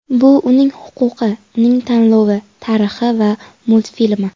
Bu uning huquqi, uning tanlovi, tarixi va multfilmi”.